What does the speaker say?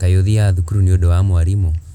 Kaĩ ũthiaga thukuru nĩũndũ wa mwarimũ?